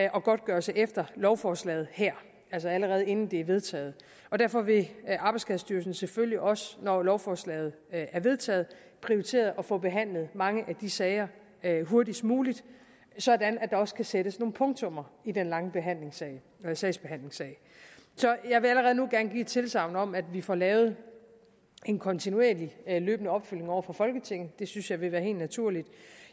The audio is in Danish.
og godtgørelse efter lovforslaget her altså allerede inden det er vedtaget og derfor vil arbejdsskadestyrelsen selvfølgelig også når lovforslaget er vedtaget prioritere at få behandlet mange af de sager hurtigst muligt sådan at der også kan sættes nogle punktummer i den lange sagsbehandlingstid så jeg vil allerede nu gerne give et tilsagn om at vi får lavet en kontinuerlig løbende opfølgning over for folketinget det synes jeg vil være helt naturligt